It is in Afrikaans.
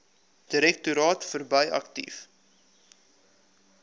direktoraat verbrei aktief